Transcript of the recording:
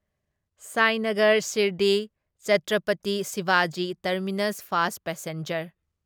Sainagar Shirdi Chhatrapati Shivaji Terminus fast passenger